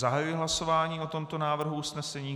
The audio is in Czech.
Zahajuji hlasování o tomto návrhu usnesení.